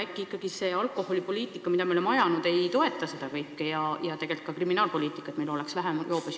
Äkki ikkagi see alkoholipoliitika, mida me oleme ajanud, ei toeta seda, et meil oleks vähem joobes juhte, ja tegelikult ka kriminaalpoliitika?